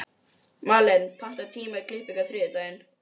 Malen, pantaðu tíma í klippingu á þriðjudaginn.